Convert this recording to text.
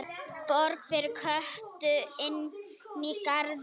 Borg fyrir Kötu inní garði.